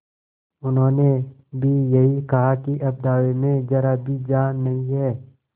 उन्होंने भी यही कहा कि अब दावे में जरा भी जान नहीं है